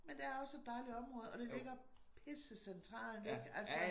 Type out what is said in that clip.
Men det også et dejligt område og det ligger pisse centralt ikke altså